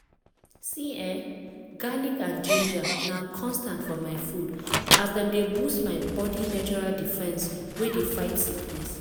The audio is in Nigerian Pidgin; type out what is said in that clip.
see ehn! garlic and ginger na constant for my food as dem dey boost my natural body defense wey dey fight sickness.